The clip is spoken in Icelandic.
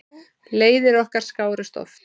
Leiðir okkar skárust oft.